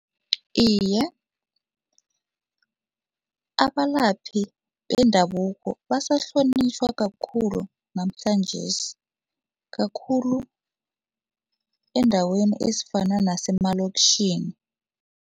Iye, abalaphi bendabuko basahlonitjhwa kakhulu namhlanjesi kakhulu eendaweni ezifana nasemalokitjhini.